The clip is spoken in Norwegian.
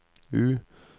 U